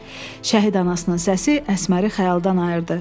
Şəhid anasının səsi Əsməri xəyaldan ayırdı.